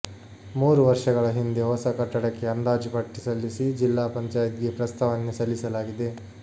ಮೂರು ವರ್ಷಗಳ ಹಿಂದೆ ಹೊಸ ಕಟ್ಟಡಕ್ಕೆ ಅಂದಾಜುಪಟ್ಟಿ ಸಲ್ಲಿಸಿ ಜಿಲ್ಲಾ ಪಂಚಾಯತ್ಗೆ ಪ್ರಸ್ತಾವನೆ ಸಲ್ಲಿಸಲಾಗಿದೆ